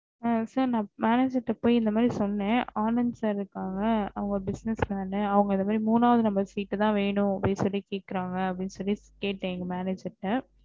ஆஹ் sir போய் ந போய் manager இந்த மாதிரி சொன்னே ஆனந்த் sir இருகாங்க அவுங்க business man இந்த மாதிரி மூனா number seat த வேணும் அப்டி சொல்லி கேகுரங்க அப்டி சொல்லி கேட்டேன் எங்க manager ட